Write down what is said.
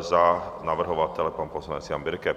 za navrhovatele pan poslanec Jan Birke.